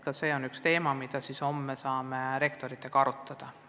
Ka see on üks teema, mida homme saame rektoritega arutada.